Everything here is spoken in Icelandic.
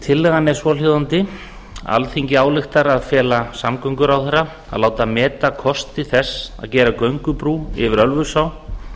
tillagan er svohljóðandi alþingi ályktar að fela samgönguráðherra að láta meta kosti þess að gera göngubrú yfir ölfusá